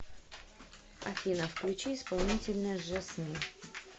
афина включи исполнителя жасмин